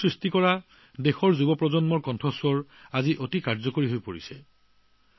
content সৃষ্টি কৰা দেশৰ যুৱকযুৱতীসকলৰ কথাই এতিয়া যথেষ্ট প্ৰভাৱ পেলাইছে